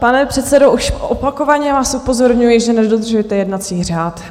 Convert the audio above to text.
Pane předsedo, už opakovaně vás upozorňuji, že nedodržujete jednací řád.